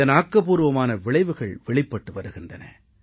இதன் ஆக்கப்பூர்வமான விளைவுகள் வெளிப்பட்டு வருகின்றன